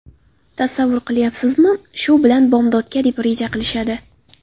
Tasavvur qilyapsizmi... Shu bilan bomdodga deb reja qilishadi.